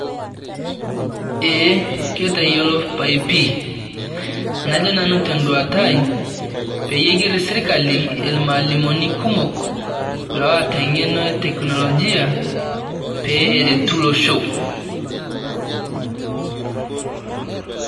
Eeh ketayiolo pai pii, najoo nanu te duatai pee igeer sirikali emwalimuni kumook loota ng'eno e teknolojia pee areetu loosho.